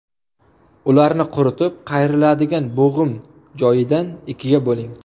Ularni quritib, qayriladigan bo‘g‘im joyidan ikkiga bo‘ling.